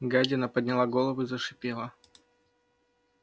гадина подняла голову и зашипела